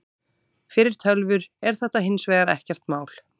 Fyrir tölvur er þetta hins vegar ekkert mál.